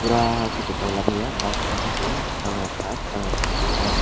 pura tok kotor lamaya bangma khe tongo jang rekhap jang rekhap tongmo.